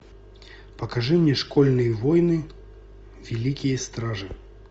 покажи мне школьные войны великие стражи